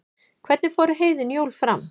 hvernig fóru heiðin jól fram